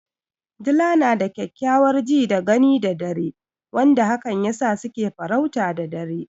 Dila na da kyakkyawar ji da gani da dare wanda hakan yasa su ke farauta da dare.